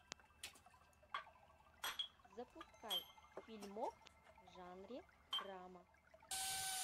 запускай фильмок в жанре драма